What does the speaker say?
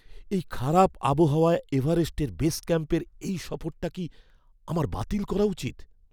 এই খারাপ আবহাওয়ায় এভারেস্টের বেস ক্যাম্পের এই সফরটা কি আমার বাতিল করা উচিত?